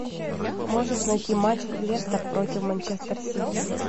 можешь найти матч лестер против манчестер сити